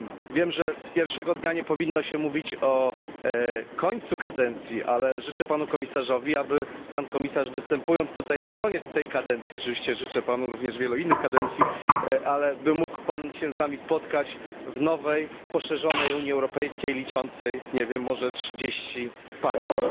Wiem, że pierwszego dnia nie powinno się mówić o końcu kadencji, ale życzę panu komisarzowi, aby występując tutaj na koniec tej kadencji, oczywiście życzę panu również wielu innych kadencji, by mógł się pan z nami spotkać w nowej poszerzonej Unii Europejskiej liczącej może nawet 30 państw.